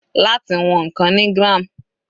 Láti wọn ǹkan ni gram.